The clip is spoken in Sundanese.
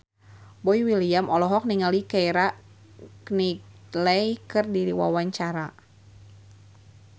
Boy William olohok ningali Keira Knightley keur diwawancara